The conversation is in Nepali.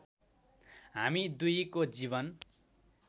हामी दुईको जीवन